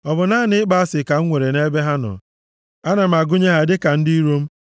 Ọ bụ naanị ịkpọ asị ka m nwere nʼebe ha nọ? Ana m agụnye ha dịka ndị iro m.